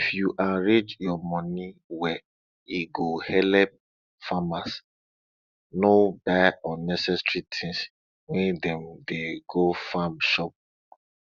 if yu arrange yua money well e go helep farmers no buy unnecessary tins when dem dey go farm shop